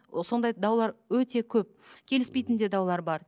сондай даулар өте көп келіспейтін де даулар бар